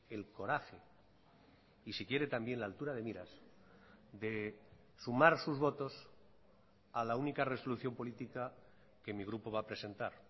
el coraje y si quiere también la altura de miras de sumar sus votos a la única resolución política que mi grupo va a presentar